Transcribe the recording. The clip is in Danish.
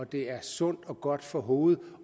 det er sundt og godt for hovedet